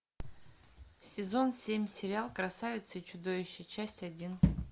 сезон семь сериал красавица и чудовище часть один